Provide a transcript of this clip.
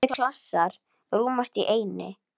Margir klasar rúmast í einni.